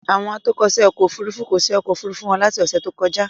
Àwọn atọ́kọ̀ṣe ọkọ òfurufú kò ṣe ọkọ̀ Òfurufú wọn láti ọ́sẹ̀ tó kọjá.